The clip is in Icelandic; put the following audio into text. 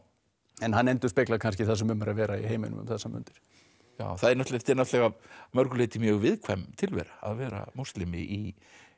en hann endurspeglar kannski það sem um er að vera í heiminum um þessar mundir þetta er náttúrulega að mörgu leyti mjög viðkvæm tilvera að vera múslimi í